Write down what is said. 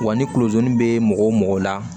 Wa ni kulojɛni bɛ mɔgɔ la